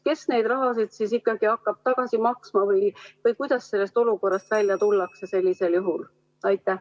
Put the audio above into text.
Kes seda raha siis ikkagi hakkab tagasi maksma või kuidas sellest olukorrast välja tullakse sellisel juhul?